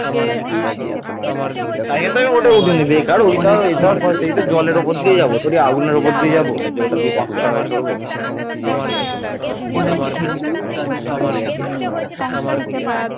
ভাষাগতভাবে, এই ভূখণ্ডের প্রাচীনতম জনগোষ্ঠী হয়তো দ্রাবিড় ভাষায় কথা বলত যেমন কুরুক্স